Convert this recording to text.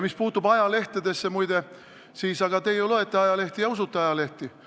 Mis puutub ajalehtedesse, siis, muide, aga te ju loete ajalehti ja usute ajalehti.